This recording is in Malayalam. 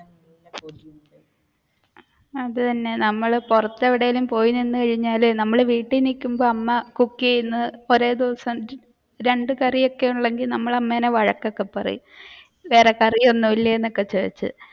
അത് തന്നെ നമ്മൾ പുറത്തു എവിടേലും പോയി നിന്നുകഴിഞ്ഞാൽ നമ്മൾ വീട്ടിൽ നിക്കുമ്പോൾ അമ്മ cook ചെയ്യുന്നത് കുറെ ദിവസം രണ്ട കറിയൊക്കെ ഉള്ളുവെങ്കിൽ നമ്മൾ അമ്മയിനെ വഴക്ക് ഒക്കെ പറയും വേറെ കറി ഒന്നും ഇല്ലേ എന്ന് ചോദിച്ചു.